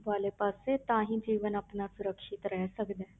ਵਾਲੇ ਪਾਸੇ ਤਾਂ ਹੀ ਜੀਵਨ ਆਪਣਾ ਸੁਰੱਖਿਅਤ ਰਹਿ ਸਕਦਾ ਹੈ।